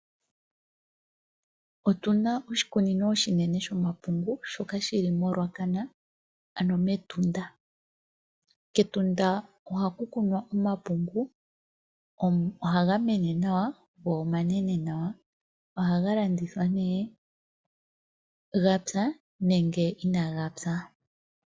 Otuna oshikunino oshinene shomapungu, shoka shili moRuacana, ano metunda. Ketunda ohaku kunwa omapungu, ohaga mene nawa, go omanene nawa. Ohaga landithwa nee gapya nenge inaaga pya.